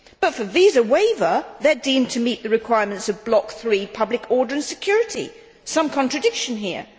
But for visa waiver, they are deemed to meet the requirements of Block 3 Public order and security some contradiction here.